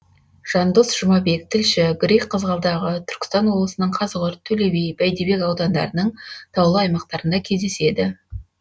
жандос жұмабек тілші грейг қызғалдағы түркістан облысының қазығұрт төлеби бәйдібек аудандарының таулы аумақтарында кездеседі